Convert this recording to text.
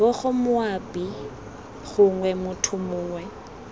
bgo moabi gongwe motho mongwe